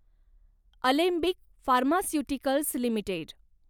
Alembic pharmaceuticals limited